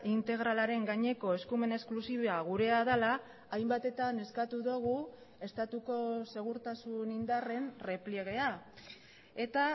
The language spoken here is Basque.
integralaren gaineko eskumen esklusiboa gurea dela hainbatetan eskatu dugu estatuko segurtasun indarren errepliegea eta